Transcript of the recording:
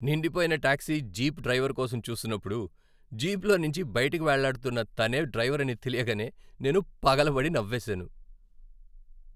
నిండిపోయిన taxi jeep driver కోసం చూస్తున్నప్పుడు, జీప్లోంచి బయటకు వేళ్ళాడుతున్నతనే డ్రైవర్ అని తెలియగానే నేను పగలబడి నవ్వేసాను.